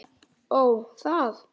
Ó, það.